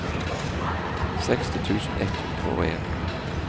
seksti tusen ett hundre og en